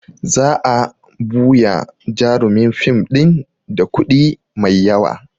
Za a buya jarumin fim ɗin da kuɗi mai yawa